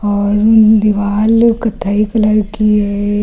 और इन दीवार लोग कत्थई कलर की है।